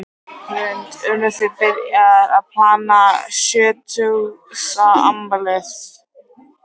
Hrund: Eruð þið byrjaðar að plana sjötugsafmælið?